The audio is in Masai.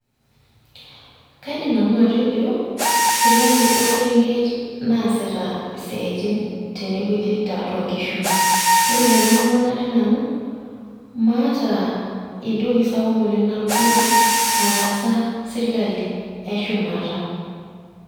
kaidim nanu atejo, sirkali orkerenget naasita isiaitin tene wueji naasita tiatu inkishu. orr tene murua natii nanu, maata entoki sapuk oleng natodua nataasa sirkali eshumata.